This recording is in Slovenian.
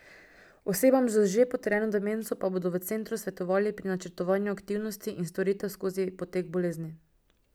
Osebam z že potrjeno demenco pa bodo v centru svetovali pri načrtovanju aktivnosti in storitev skozi potek bolezni.